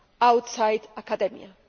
outside academia.